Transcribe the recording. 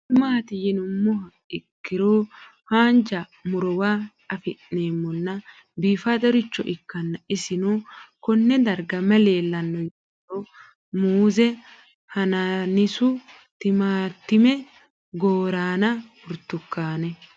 Kuni mati yinumoha ikiro hanja murowa afine'mona bifadoricho ikana isino Kone darga mayi leelanno yinumaro muuze hanannisu timantime gooranna buurtukaane